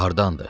Hardandır?